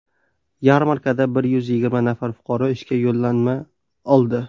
Yarmarkada bir yuz yigirma nafar fuqaro ishga yo‘llanma oldi.